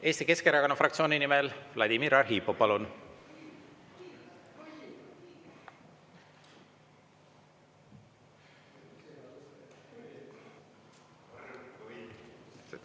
Eesti Keskerakonna fraktsiooni nimel Vladimir Arhipov, palun!